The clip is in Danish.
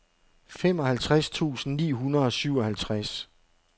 femoghalvtreds tusind ni hundrede og syvoghalvtreds